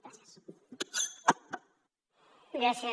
gràcies